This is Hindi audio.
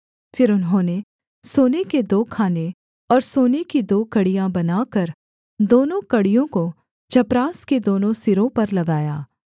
फिर उन्होंने सोने के दो खाने और सोने की दो कड़ियाँ बनाकर दोनों कड़ियों को चपरास के दोनों सिरों पर लगाया